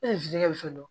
E futeli dɔ